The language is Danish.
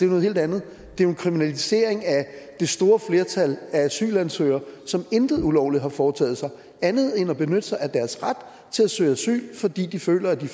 noget helt andet det er en kriminalisering af det store flertal af asylansøgere som intet ulovligt har foretaget sig andet end at benytte sig af deres ret til at søge asyl fordi de føler de